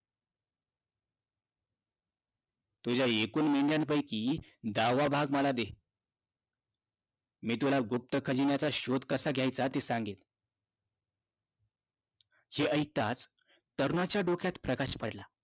तुझ्या एकूण मेंढ्यांपैकी दहावा भाग मला दे. मी तुला गुप्त खजिन्याचा शोध कसा घ्यायचा ते सांगेन. हे ऐकताच, तरुणाच्या डोक्यात प्रकाश पडला.